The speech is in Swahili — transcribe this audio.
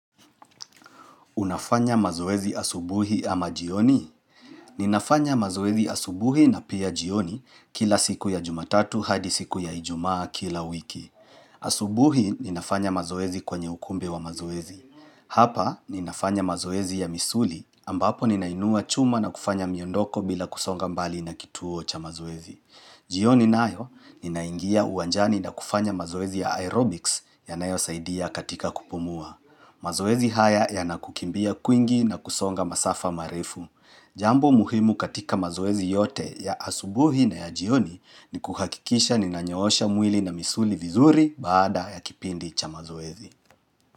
Unafanya mazoezi asubuhi ama jioni? Ninafanya mazoezi asubuhi na pia jioni kila siku ya jumatatu hadi siku ya ijumaa kila wiki. Asubuhi, ninafanya mazoezi kwenye ukumb wa mazoezi. Hapa, ninafanya mazoezi ya misuli ambapo ninainua chuma na kufanya miondoko bila kusonga mbali na kituo cha mazoezi. Jioni nayo, ninaingia uwanjani na kufanya mazoezi ya aerobics yanayosaidia katika kupumua. Mazoezi haya yanakukimbia kwingi na kusonga masafa marefu. Jambo muhimu katika mazoezi yote ya asubuhi na ya jioni ni kuhakikisha ni nanyoosha mwili na misuli vizuri baada ya kipindi cha mazoezi.